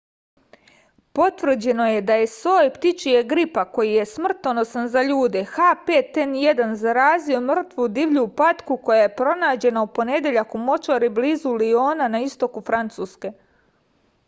потврђено је да је сој птичјег грипа који је смртоносан за људе h5n1 заразио мртву дивљу патку која је пронађена у понедељак у мочвари близу лиона на истоку француске